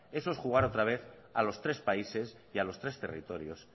eso es jugar otra vez a los tres países y a los tres territorios